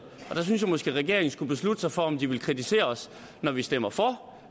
og der synes jeg måske regeringen skulle beslutte sig for om de vil kritisere os når vi stemmer for